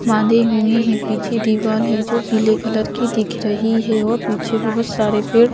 बांधे हुए हैं पीछे दीवाल है जो पीले कलर की दिख रही है और पीछे बहुत सारे पेड़ --